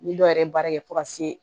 Ni dɔw yɛrɛ baara kɛ fo ka se